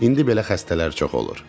İndi belə xəstələr çox olur.